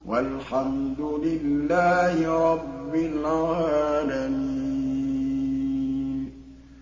وَالْحَمْدُ لِلَّهِ رَبِّ الْعَالَمِينَ